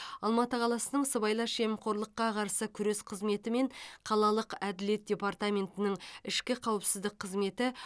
алматы қаласының сыбайлас жемқорлыққа қарсы күрес қызметі мен қалалық әділет департаментінің ішкі қауіпсіздік қызметі